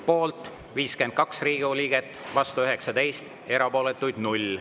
Poolt 52 Riigikogu liiget, vastu 19, erapooletuid 0.